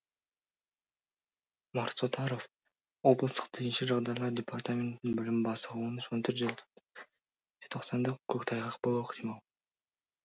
марс отаров облыстық төтенше жағдайлар департаментінің бөлім бастығы он үш он төртінші жетоқсанда көктайғақ болуы ықтимал